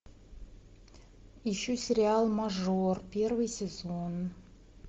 ищу сериал мажор первый сезон